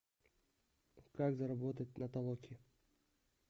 как заработать на толоке